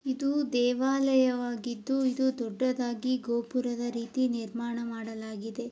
ಇದು ದೇವಾಲಯವಾಗಿದ್ದು ಇದು ದೊಡ್ಡದಾಗಿ ಗೋಪುರದ ರೀತಿ ನಿರ್ಮಾಣ ಮಾಡಲಾಗಿದೆ.